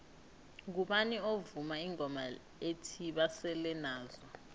ngubani ovuma ingoma ethi basele nazo